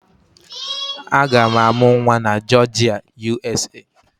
Aga m amụ nwa na Jọọjịa, USA